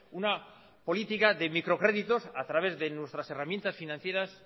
una política de microcréditos a través de nuestras herramientas financieras